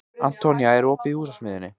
Antonía, er opið í Húsasmiðjunni?